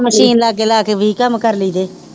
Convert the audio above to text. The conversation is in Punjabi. ਮਸ਼ੀਨ ਲਾ ਕੇ ਲਾ ਕੇ ਵੀਹ ਕੰਮ ਕਰਨੀ ਜੇ